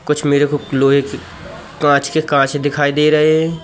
कुछ मेरे को लोहे की वॉच के कांच दिखाई दे रहें--